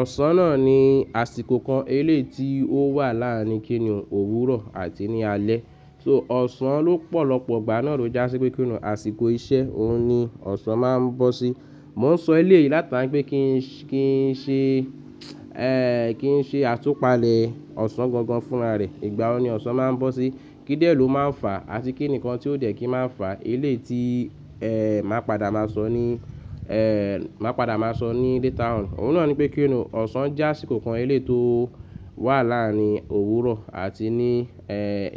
Ọ̀sán náà ni àsìkò kan eléyii tí ó wà láàárín kínní, òwúrọ̀ àti ní alẹ́. So ọ̀sán lópọ̀lọ́pọ̀ ìgbà náà ló jásí pé inú àsìkò iṣẹ́, òun ni ọ̀sán máa ń bọ́ sí. Mo ń sọ eléèyì látara pé kí n ṣe, kí n ṣe àtúpalẹ̀ ọ̀sán gan gan fún'ra rẹ. Ìgbà wo ni ọ̀sán máa ń bọ́ sí? Kí dẹ̀ ló máa ń fà àti kí nǹkan tí ó dẹ̀ kí máa n fà? Eléyii tí màá padà máa sọ ní, màá padà máa sọ ní later on. Òun náà ní pé kí ni, ọ̀sán jẹ́ àsìkò kan eléyii tí ó wà láàárín òwúrọ̀ àti ní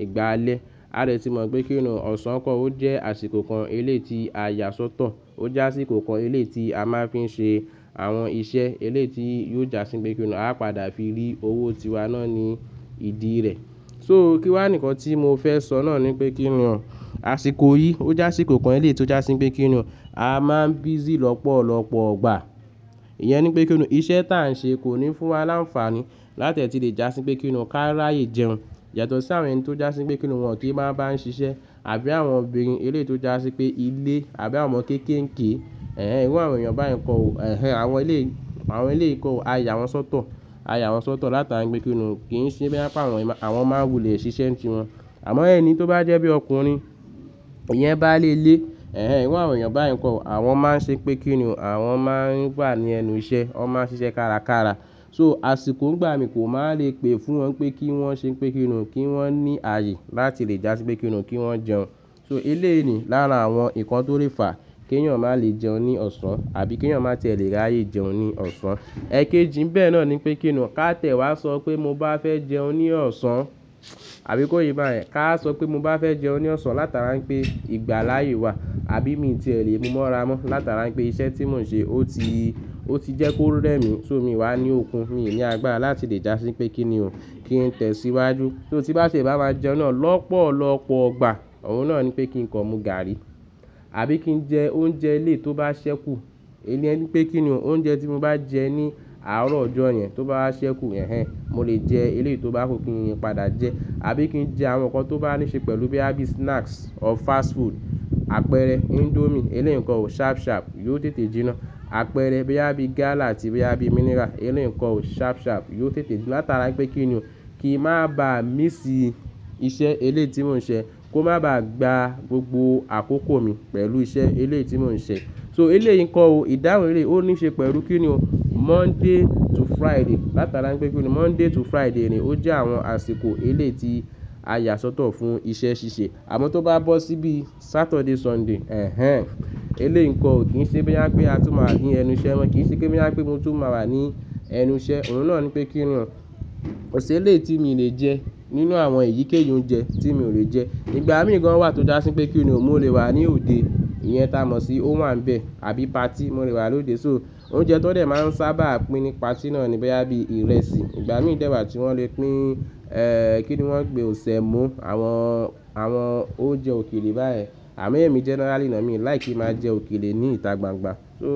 ìgbà alẹ́. A dẹ̀ tí mọ̀ pé kí ni ọ̀sán, ó jẹ́ àsìkò kan eléyii tí a yà sọ́tọ̀. Ó je àsìkò kan eléyìí tí a máa ń fi ń ṣe àwọn iṣẹ́ eléyìí tí yóò jásí pé kí ni, a padà fi rí owó tiwa náà ní ìdí rẹ̀. So kíwà ni ǹkan tí mo fẹ́ sọ náà ní pé kí ni o, àsìkò yìí ó je àsìkò kan eléyìí tí ó jásí pé kí ni o, a máa ń busy lọ́pọ̀lọ́pọ̀ ìgbà. Iyẹn ní pé kí ni o, iṣẹ́ t'à ń ṣe kò ní fún wa láǹfààní láti è tí lè jásí pé kí ni o, ká ráyè jẹun. Yàtọ̀ sí àwọn ẹni tó jásí pé kí ni o wọn kìí má bá ń ṣiṣẹ́ àbí àwọn obìnrin eléyìí tí ó jásí pé ilé àbí àwọn ọmọ kéékèèké. Ẹ̀hẹn ìru àwọn èèyàn bá yen kọ̀ o. Ehẹn àwọn eleyii, àwọn eléyìí kọ̀ ọ̀. A yà wọ́n sọ́tọ̀, a yà wọ́n sọ́tọ̀ látara pé kí ni, kì í ṣe bóyá pé awọ́n yen, àwọn máa n wulẹ̀ ṣiṣẹ́ n ti wọn. Àmọ́ ẹni tó bá jẹ́ bí ọkùnrin, ìyẹn báálé ilé, ẹ̀hẹn irú àwọn èèyàn báyìí kó o. Àwọn máa ń ṣe pé kí ni o àwọn máa ń wà ní ẹnu iṣẹ́, wọ́n máa ń ṣiṣẹ́ kárakára. So àsìkò n'gbà míì kò máa lè pè fún wọn pé kí wọ́n ṣe pé kí ni o, kí wọ́n ní ààyè láti lè jásí pé kí ni o kí wọ́n jẹun. So eléyìí ni lára àwọn nǹkan tó lè fà kí ẹ̀yàn má lè jẹun ní ọ̀sán àbí kí ẹ̀yàn má tiè lẹ̀ ráyè jẹun ní ọ̀sán. Ẹ̀kéjì n'bè náà ní pé kí ni o, ká tiẹ̀ wá sọ pé mo bá fẹ́ jẹun ní ọ̀sán àbí kò yé bá yẹn? Ká sọ pé mo bá fẹ́ jẹun ní ọ̀sán látara pé ìgbàláàyè wà àbí mi tiè lẹ̀ mú mọ́ra mọ́ látara pé iṣẹ́ tí mò ń ṣe ó ti, ó ti jẹ́ kó rẹ́ mi. So mi ì wá ní òkun, mi ì ní agbára láti lè jásí pé kí ni o, kí n tẹ̀ síwájú. So tín bá tiè bá máa jẹun náà lọ́pọ̀lọ́pọ̀ ìgbà, òun náà ní pé kin kan mú gààrí àbí kí n jẹ oúnjẹ eléyìí tí ó bá ṣẹ́kù. Ìyen ni pé kí ni o oúnjẹ tí mo bá jẹ ní àárọ̀ ọjọ́ yẹn tó bá ṣẹ́kù, ẹ̀hẹn mo lè jẹ eléyìí tí ó bá kù kìń padà jẹ àbí kín jẹ àwọn nǹkan tó bá ní ṣe pẹ̀lú bóyá bí snacks or fast food, àpẹẹrẹ índómìe eléyìí nkó o ṣharp ṣharp yóò tètè jinná. Àpẹẹrẹ bóyá bí gálà àti bóyá bí mineral eléyìí nkó o ṣharp ṣharp yóò tètè jinná látara i pé kí ni o kìn má bá míss iṣẹ́ eléyìí tí mò ń ṣe kó má bá gba gbogbo àkókò mi pẹ̀lú iṣẹ́ eléyìí tí mò ń ṣe. So eléyìí nkò o ìdáhùn eléyìí ó ní ṣe pẹ̀lú kí ni o, Monday to Friday látara i pé kí ni Monday to Friday ni ó jẹ́ àwọn àsìkò eléyìí tí a yà sọ́tọ̀ fún iṣẹ́ ṣíṣe. Àmọ́ tó bá bọ́ sí bíi Saturday, Sunday, ẹ̀hẹn eléyìí ǹkó o kín ṣe bóyá pé a tún máa wà ní ẹnu iṣẹ́ mọ́, kì í ṣe pé bóyá pé mo tún máa wà ní ẹnu iṣẹ́. Òun náà ní pé kí ni o, kò ṣ'eléyìí tí mi lè jẹ́ nínú àwọn èyíkéyìí oúnjẹ tí mi ò lè jẹ́. Ìgbà míì gan wà tó jásí pé kí ni o, mo lè wà ní òde, ìyẹn t'a mọ̀ sí ówàǹbẹ̀ àbí party mo lè wà lóde. So oúnjẹ tán dẹ̀ máa ń sábà pín ní party náà ni bóyá bíí ìrẹsì. Ìgbà míì dèwà tí wọ́n lè pín kí ni wọ́n pé ọ̀, sẹ̀mó àwọn, àwọn oúnjẹ òkèlè báyen. Àmọ́ ẹ̀mí generally ná mi ò like kín máa jẹ òkèlè ní ìta gbangba. So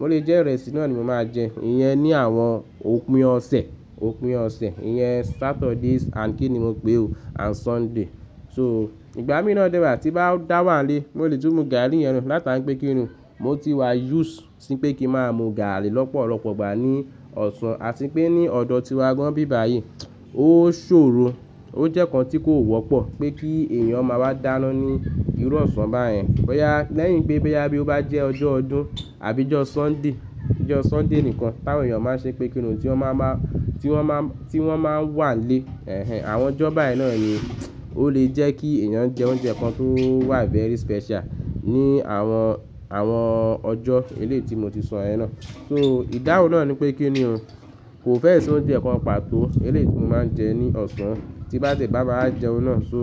ó le jé ìrẹsì náà ni mo máa jẹ. Ìyẹn ni àwọn òpin ọ̀sẹ̀, òpin ọ̀sẹ̀. Iyẹn Saturdays and kí ni mo pè o and Sunday. So ìgbà míì náà dè wà tín bá dà wà n'lé mo lè tún mú gààrí yẹn látara pé kí ni, mo ti wà used sí pé kín máa mú gààrí lọ́pọ̀lọ́pọ̀ ìgbà ní ọ̀sán. Àti pé ní ọ̀dọ̀ tíwa gán n'bí báyìí ó ṣòro, ó jẹ́ nǹkan tí kò wọ́pọ̀ pé kí èèyàn máa wá dáná ní irú ọ̀sán báyẹn. Bóyá lẹ́yìn pé bóyá bí ó bá jẹ́ ọjọ́ ọdún àbí ọjọ́ Sunday, ọjọ́ Sunday nìkan táwọn èyàn máa ń ṣe pé kí ni, tí wọ́n máa máa, tí wọ́n má, tí wọ́n máa ń wà n'lé, ẹ̀hẹn àwọn ọjọ́ báyìí náà ni ó lè jẹ́ kí èyàn jẹ oúnjẹ kan tó wà very special ní àwọn, àwọn ọjọ́ eléyìí tí mo ti sọ yẹn náà. So ìdáhùn náà ní pé kí ni o, kò fẹ́è ṣí oúnjẹ kan pàtó eléyìí tí mo máa ń jẹ ní ọ̀sán tín bá tiè bá máa jẹun náà. So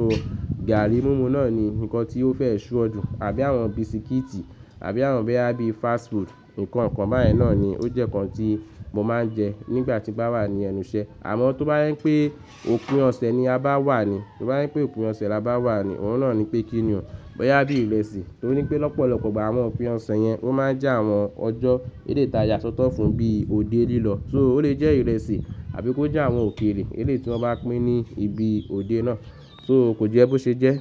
gààrí múmu náà ni nǹkan tí ó fẹ́ ṣure jù àbí àwọn bisikíìtì àbí àwọn bóyá bíi fast food nǹkan kan báyen náà ni ó jẹ́ nǹkan tí mo máa ń jẹ nígbà tín bá wà ní ẹnu iṣẹ́. Àmọ́ tó bá jẹ pé òpin ọ̀sẹ̀ ni a bá wà ni, tóbá je pé òpin ọ̀sẹ̀ la bá wà ni, òun náà ní pé kí ni o bóyá bí ìrẹsì torí pé lọ́pọ̀lọ́pọ̀ ìgbà àwọn òpin ọ̀sẹ̀ yẹn wọ́n máa ń jẹ́ àwọn ọjọ́ eléyìí tí a yà sọ́tọ̀ fún bí òde lílọ̀. So ó lè jẹ ìrẹsì àbí kó jẹ àwọn òkèlè eléyìí tí wọ́n bá pín ní ibi òde náà. So kò jẹ́ bó ṣe jẹ́.